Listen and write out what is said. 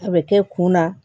A bɛ kɛ kun na